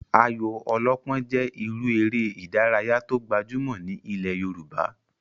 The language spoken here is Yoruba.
Ayò ọlọ́pọ́n jẹ́ irú eré ìdárayá tó gbajúmọ̀ ní ilẹ̀ yoòbá